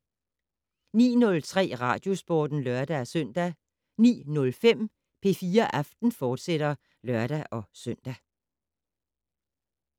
19:03: Radiosporten (lør-søn) 19:05: P4 Aften, fortsat (lør-søn)